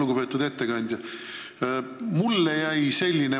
Lugupeetud ettekandja!